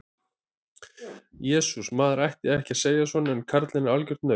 Jesús, maður ætti ekki að segja svona en karlinn er algjört naut.